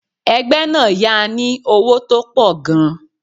Ẹgbẹ́ náà yá a ní owó tó pọ̀ gan-an.